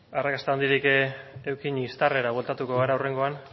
arrakasta handirik eduki instarera bueltatuko gara hurrengoan